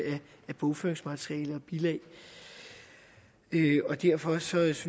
af bogføringsmateriale og bilag og derfor synes